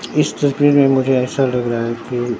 इस तस्वीर में मुझे ऐसा लग रहा है कि--